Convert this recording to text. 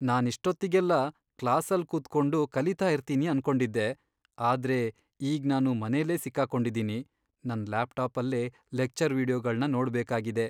ನಾನಿಷ್ಟೊತ್ತಿಗೆಲ್ಲ ಕ್ಲಾಸಲ್ ಕೂತ್ಕೊಂಡು ಕಲೀತಾ ಇರ್ತೀನಿ ಅನ್ಕೊಂಡಿದ್ದೆ.. ಆದ್ರೆ ಈಗ್ ನಾನು ಮನೆಲೇ ಸಿಕ್ಕಾಕೊಂಡಿದೀನಿ, ನನ್ ಲ್ಯಾಪ್ಟಾಪಲ್ಲೇ ಲೆಕ್ಚರ್ ವೀಡಿಯೊಗಳ್ನ ನೋಡ್ಬೇಕಾಗಿದೆ.